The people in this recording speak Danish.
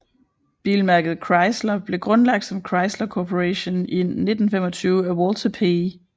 Bilmærket Chrysler blev grundlagt som Chrysler Corporation i 1925 af Walter P